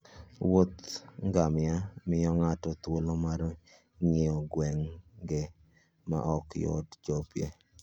Wuoth ngamia miyo ng'ato thuolo mar ng'iyo gwenge ma ok yot chopoe.